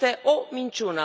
Este o minciună.